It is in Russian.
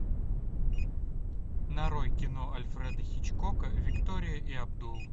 нарой кино альфреда хичкока виктория и абдул